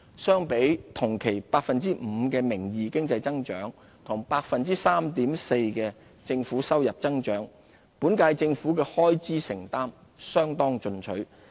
相比同期 5% 的名義經濟增長和 3.4% 的政府收入增長，本屆政府的開支承擔相當進取。